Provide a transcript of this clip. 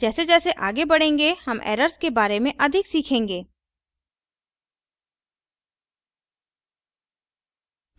जैसे जैसे as बढेंगे हम errors के बारे में अधिक सीखेंगें